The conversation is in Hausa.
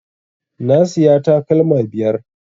Na siya takalma biyar